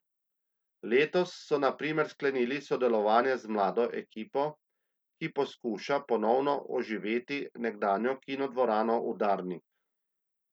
Letos so na primer sklenili sodelovanje z mlado ekipo, ki poskuša ponovno oživeti nekdanjo kinodvorano Udarnik.